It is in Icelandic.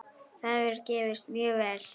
Það hefur gefist mjög vel.